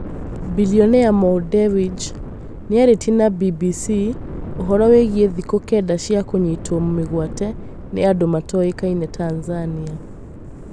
Bilionea Mo Dewji nĩarĩtie na BBC ũhoro wĩigie thikũ kenda cia kũnyitwo mĩgwate nĩ andũ matoĩkaine Tanzania